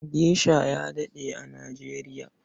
Gesha ya daɗe a Nijeriya.